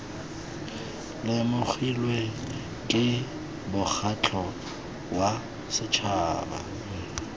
lemogilwe ke mokgatlho wa setšhaba